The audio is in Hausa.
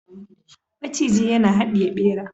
maciji yana hadiye bera